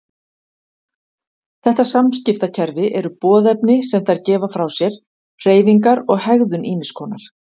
Þetta samskiptakerfi eru boðefni sem þær gefa frá sér, hreyfingar og hegðun ýmiss konar.